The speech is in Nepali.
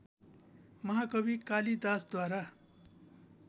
महाकवि कालिदासद्वारा